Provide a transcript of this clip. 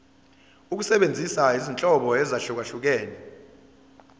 ukusebenzisa izinhlobo ezahlukehlukene